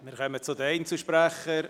Wir kommen zu den Einzelsprechern.